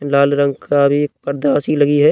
लाल रंग का भी परदा सी लगी है।